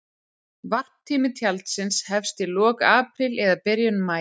Varptími tjaldsins hefst í lok apríl eða byrjun maí.